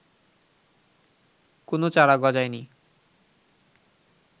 কোনো চারা গজায়নি